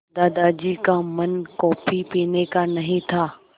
दादाजी का मन कॉफ़ी पीने का नहीं था